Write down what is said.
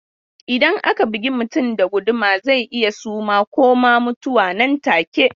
Idan aka bugi mutum da guduma zai iya suma ko ma mutuwa nan take.